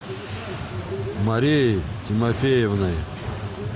марией тимофеевной